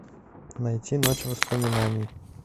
найти ночь воспоминаний